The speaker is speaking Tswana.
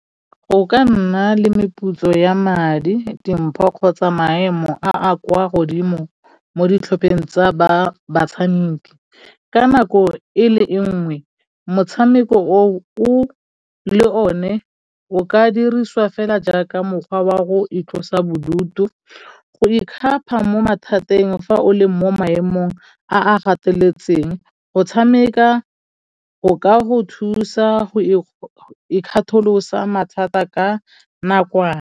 Go ka nna le meputso ya madi, dimpho kgotsa maemo a a kwa godimo mo ditlhopheng tsa batshamiki ka nako e le e nngwe motshameko o le one o ka dirisiwa fela jaaka mokgwa wa go itlosa bodutu, go ikgapa mo mathateng fa o le mo maemong a a gateletseng go tshameka go ka go thusa go ikgatholosa mathata ka nakwana.